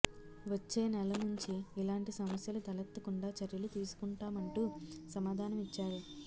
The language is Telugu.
వచ్చేనెలా నుంచి ఇలాంటి సమస్యలు తెలెత్తకుండా చర్యలు తీసుకుం టామంటూ సమాధానం ఇచ్చారు